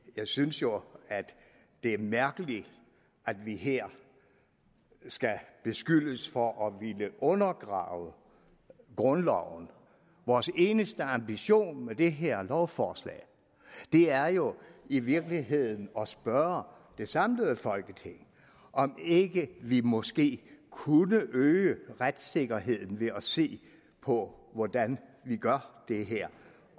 jeg synes jo det er mærkeligt at vi her skal beskyldes for at ville undergrave grundloven vores eneste ambition med det her lovforslag er jo i virkeligheden at spørge det samlede folketing om ikke vi måske kunne øge retssikkerheden ved at se på hvordan vi gør det her